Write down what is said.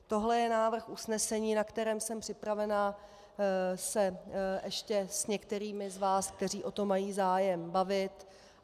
Tohle je návrh usnesení, o kterém jsem připravena se ještě s některými z vás, kteří o to mají zájem, bavit.